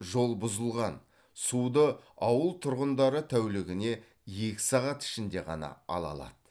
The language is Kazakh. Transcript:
жол бұзылған суды ауыл тұрғындары тәулігіне екі сағат ішінде ғана ала алады